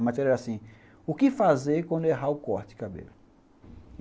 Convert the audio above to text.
A matéria era assim, o que fazer quando errar o corte de cabelo?